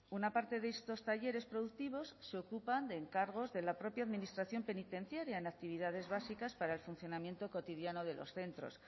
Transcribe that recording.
una parte de estos talleres productivos se ocupan de encargos de la propia administración penitenciaria en actividades básicas para el funcionamiento cotidiano de los centros